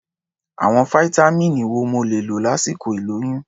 Àwọn fáítámíìnì wo mo lè lò lásìkò ìlóyún?